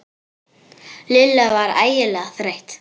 Lilla var ægilega þreytt.